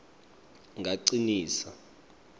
ngacinisa